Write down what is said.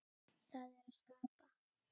Það er að skapa.